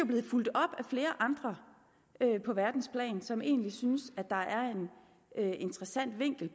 blevet fulgt op af flere andre på verdensplan som egentlig synes at der er en interessant vinkel i